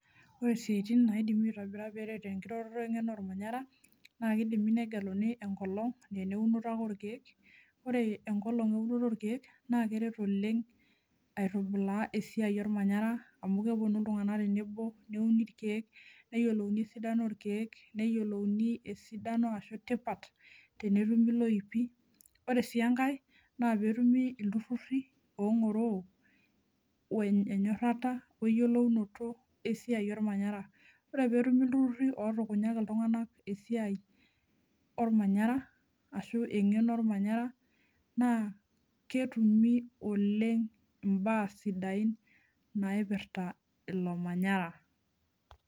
ore isiatin naidimi aiitobira peeret enkiroroto we ngeno olmanyara, naa kidimi negeluni enkolong' naa eneunoto ake orkeek. ore enkolong eunoto orkeek. naa keret oleng aitubulaa esiai olmanyara, amu kepuonu iltunganak tenebo, neuni irkeek, neyiolouni esidano orkeek, neyiolouni esidano, ashu tipat tenetumi loipi. ore sii enkae, naa pee etumi iltururi ong'oroo, we nyorrata we yiolounoto esiai olmanyara. ore pee etumi iltururi ootukunyaki iltunganak esiai, olmanyara, ashu engeno olmanyara. naa ketumi oleng imbaa sidain naipirta ilo manyara.